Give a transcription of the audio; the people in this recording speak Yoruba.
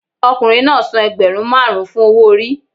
Ọkùnrin náà san ẹgbẹ̀rún márùn-ún fún owó orí.